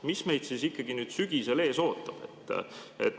Mis meid siis ikkagi nüüd sügisel ees ootab?